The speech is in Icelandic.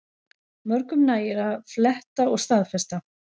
Mörgum nægir að fletta og staðfesta